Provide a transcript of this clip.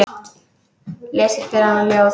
Lesi fyrir hana ljóð.